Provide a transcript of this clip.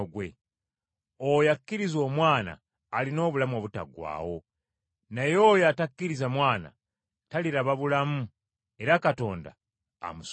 Oyo akkiriza Omwana alina obulamu obutaggwaawo, naye oyo atakkiriza Mwana, taliraba bulamu era Katonda amusunguwalira.”